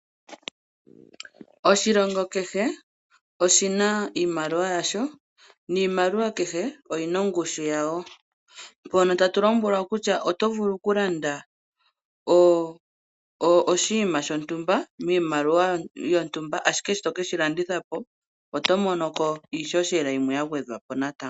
Oshilongo kehe oshina iimaliwa yasho, niimaliwa kehe oyina ongushu yawo. Mpono tatu lombwelwa kutya oto vulu okulanda oshinima shontumba, miimaliwa yontumba, ashike sho to keshi landitha po, oto monoko iihohela yimwe ya gwedhwapo natango.